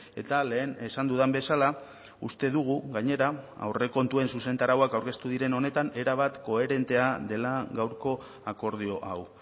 eta lehen esan dudan bezala uste dugu gainera aurrekontuen zuzentarauak aurkeztu diren honetan erabat koherentea dela gaurko akordio hau